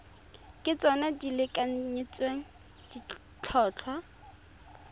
ke tsona di lekanyetsang ditlhotlhwa